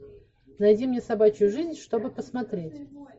найди мне собачью жизнь чтобы посмотреть